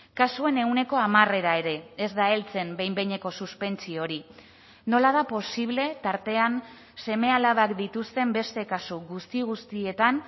kasuen ehuneko hamarera ere ez da heltzen behin behineko suspentsio hori nola da posible tartean seme alabak dituzten beste kasu guzti guztietan